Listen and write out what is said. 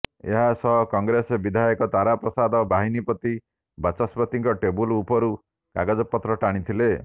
ଏହା ସହ କଂଗ୍ରେସ ବିଧାୟକ ତାରାପ୍ରସାଦ ବାହିନୀପତି ବାଚସ୍ପତିଙ୍କ ଟେବୁଲ ଉପରୁ କାଗଜପତ୍ର ଟାଣିଥିଲେ